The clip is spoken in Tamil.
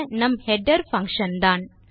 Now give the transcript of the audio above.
நம் ஹெடர் பங்ஷன் தான்